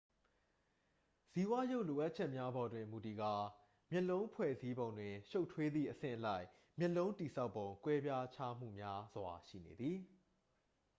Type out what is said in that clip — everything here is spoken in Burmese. ဇီဝရုပ်လိုအပ်ချက်များပေါ်တွင်မူတည်ကာ မျက်လုံးဖွဲ့စည်းပုံတွင်ရှုပ်ထွေးသည့် အဆင့်အလိုက် မျက်လုံးတည်ဆောက်ပုံ ကွဲပြားခြားမှုများစွာ ရှိနေသည်